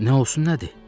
Nə olsun nədir?